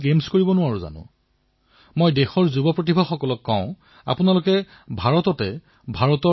আত্মনিৰ্ভৰ এপ উদ্ভাৱন প্ৰত্যাহ্বানৰ ফলাফল দেখি আপোনালোক নিশ্চয় আকৃষ্ট হব